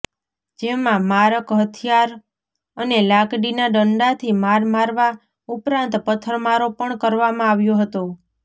જેમાં મારક હથિયાર અને લાકડીના ડંડાથી માર મારવા ઉપરાંત પથ્થરમારો પણ કરવામાં આવ્યો હતો